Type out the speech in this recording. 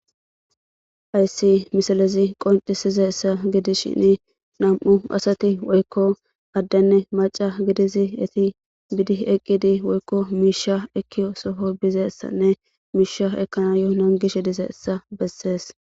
Hayssi misalezi qoncisize ssa gidi shini nam7u asati woykko addanne maca gidizi eti bidi eqqidi woykko miisha ekkio soho bizeessanne miisha ekkana yohonan gishe dize essa bessees